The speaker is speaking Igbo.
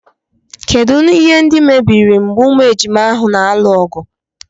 Kedụ ihe ndị mebiri mgbe ụmụ ejima ahụ na-alụ ọgụ.